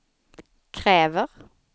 kräver